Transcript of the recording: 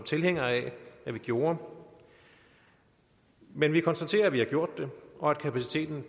tilhænger af at vi gjorde men vi konstaterer at man har gjort det og at kapaciteten